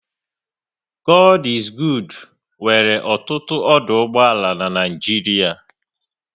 God is Good nwere ọtụtụ ọdụ ụgbọala n'Naijiria